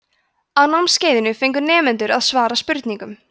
á námskeiðinu fengu nemendur að svara spurningum